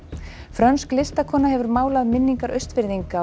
frönsk listakona hefur málað minningar Austfirðinga á